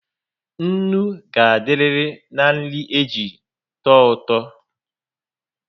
Ńnú ga adiriri na nri eji touto